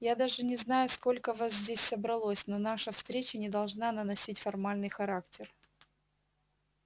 я даже не знаю сколько вас здесь собралось но наша встреча не должна наносить формальный характер